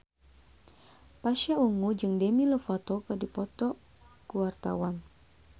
Pasha Ungu jeung Demi Lovato keur dipoto ku wartawan